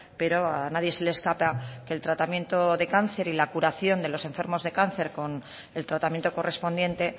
pero a nadie se le escapa que el tratamiento de cáncer y la curación de los enfermos de cáncer con el tratamiento correspondiente